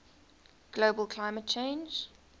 global climate change